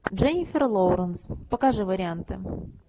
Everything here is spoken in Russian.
дженнифер лоуренс покажи варианты